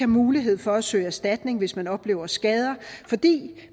mulighed for at søge erstatning hvis man oplever skader fordi